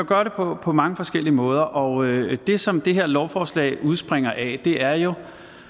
gøre det på på mange forskellige måder og det som det her lovforslag udspringer af er jo